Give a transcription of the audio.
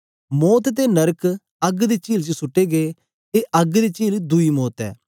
मौत ते नरक अग्ग दी चील च सुट्टे गै ए अग्ग दी चील दुई मौत ऐ